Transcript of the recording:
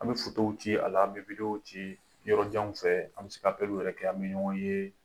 An bɛ fotow ci a la, an bɛ wideyo ci yɔrɔjanw fɛ, an bɛ se ka yɛrɛ kɛ, an bɛ ɲɔgɔn ye.